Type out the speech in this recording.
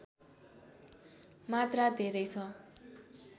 मात्रा धेरै छ